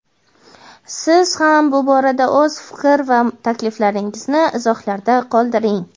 siz ham bu borada o‘z fikr va takliflaringizni izohlarda qoldiring.